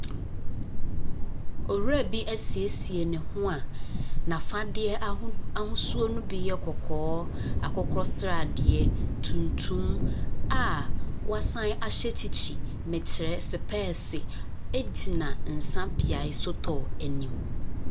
Owura bi asiesie ne ho a n’afadeɛ ahod ahosuo ne bi yɛ kɔkɔɔ, akokɔsradeɛ, tuntum a wasan ahyɛ kyikyi, mekyerɛ spɛɛse gyina nsa beae sotɔɔ anim.